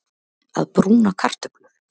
Að brúna kartöflur